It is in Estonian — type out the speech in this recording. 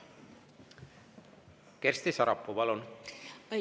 Kersti Sarapuu, palun!